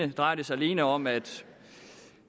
det drejer sig alene om at